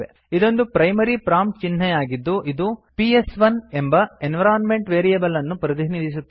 ಇದೊಂದು primary prompt ಚಿಹ್ನೆ ಆಗಿದ್ದು ಇದು ಪಿಎಸ್1 ಎಂಬ ಎನ್ವಿರೋನ್ಮೆಂಟ್ ವೇರಿಯೇಬಲ್ ಅನ್ನು ಪ್ರತಿನಿಧಿಸುತ್ತದೆ